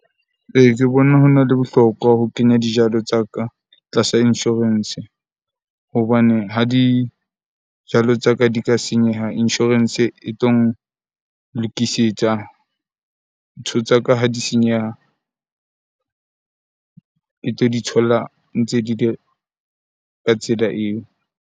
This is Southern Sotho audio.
Ee, ke bona hona le bohlokwa ho kenya dijalo tsa ka tlasa insurance hobaneng ha dijalo tsa ka di ka senyeha, insurance e tlo nlokisetsa. Ntho tsa ka ha di senyeha e tlo di thola ntse di le ka tsela eo.